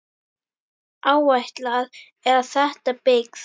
Áætlað er að þétta byggð.